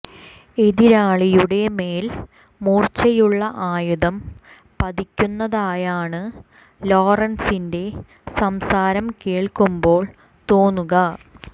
എതിരാളിയുടെ മേൽ മൂർച്ചയുള്ള ആയുധം പതിക്കുന്നതയാണ് ലോറൻസിന്റെ സംസാരം കേൾക്കുമ്പോൾ തോന്നുക